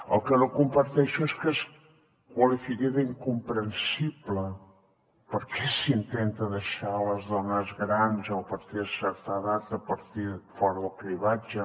el que no comparteixo és que es qualifiqui d’incomprensible perquè s’intenta deixar les dones grans o a partir de certa edat fora del cribratge